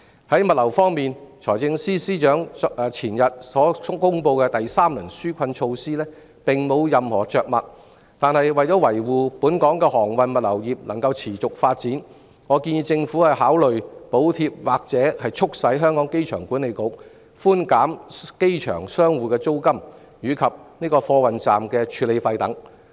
至於物流業方面，財政司司長在前天公布的第三輪紓困措施中並無任何着墨，但為了讓本港的航運物流業得以持續發展，我建議政府考慮補貼或促使香港機場管理局寬減機場商戶的租金及貨運站的處理費等。